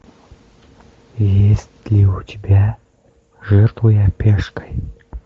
есть ли у тебя жертвуя пешкой